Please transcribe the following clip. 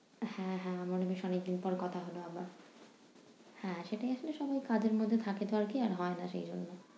হ্যাঁ হ্যাঁ আমারো বেশ অনেকদিন পর কথা হলো আবার। হ্যাঁ সেটাই আসলে সবাই কাজের মধ্যে থাকেতো আরকি হয়না সেইজন্য।